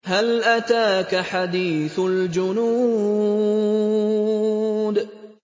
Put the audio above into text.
هَلْ أَتَاكَ حَدِيثُ الْجُنُودِ